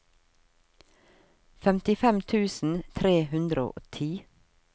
femtifem tusen tre hundre og ti